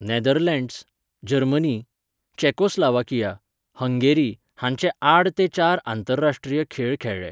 Netherlands, Germany, Czechoslovakia, Hungary हांचे आड ते चार आंतरराश्ट्रीय खेळ खेळ्ळे.